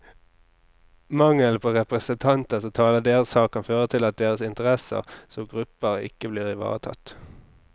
Mangelen på representanter som taler deres sak, kan føre til at deres interesser som gruppe ikke blir ivaretatt.